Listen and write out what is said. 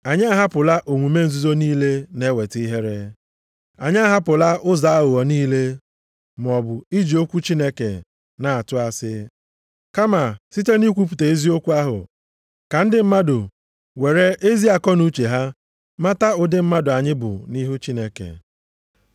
Anyị ahapụla omume nzuzo niile na-eweta ihere. Anyị ahapụla ụzọ aghụghọ niile, maọbụ iji okwu Chineke na-atụ asị. Kama site nʼikwupụta eziokwu ahụ ka ndị mmadụ were ezi akọnuche ha mata ụdị mmadụ anyị bụ nʼihu Chineke.